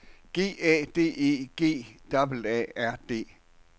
G A D E G A A R D